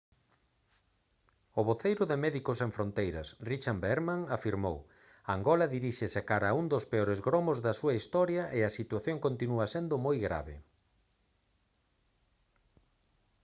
o voceiro de médicos sen fronteiras richard veerman afirmou: «angola diríxese cara a un dos peores gromos da súa historia e a situación continúa sendo moi grave»